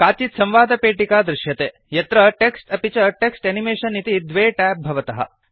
काचित् संवादपेटिका दृश्यते यत्र टेक्स्ट् अपि च टेक्स्ट् एनिमेशन इति द्वे ट्याब् भवतः